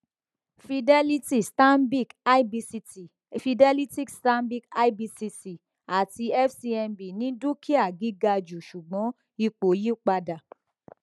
fidelity stanbic ibct fidelity stanbic ibcc àti fcmb ní dúkìá gíga jù ṣùgbọn ipò yí padà